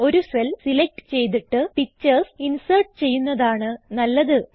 ഒരു cell select ചെയ്തിട്ട് picturesഇൻസേർട്ട് ചെയ്യുന്നതാണ് നല്ലത് ചെയ്യാം